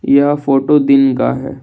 यह फोटो दिन का है।